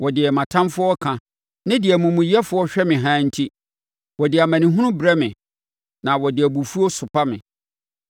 wɔ deɛ mʼatamfoɔ reka ne sɛdeɛ amumuyɛfoɔ hwɛ me haa nti; wɔde amanehunu brɛ me; na wɔde abufuo sopa me.